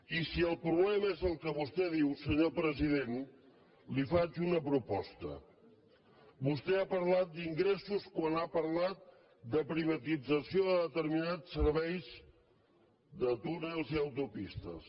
i si el problema és el que vostè diu senyor president li faig una proposta vostè ha parlat d’ingressos quan ha parlat de privatització de determinats serveis de túnels i autopistes